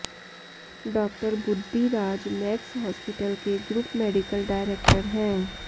डॉ Buddhiraj Max hospital के group medical director हैं